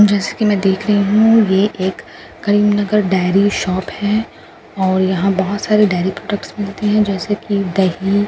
जैसा की मैं देख रही हूँ ये एक करीमनगर डायरी शॉप है और यहां पर बहुत सारे डायरी प्रोडक्ट्स मिलते हैं जैसे कि दही --